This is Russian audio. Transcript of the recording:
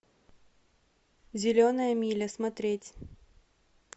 зеленая миля смотреть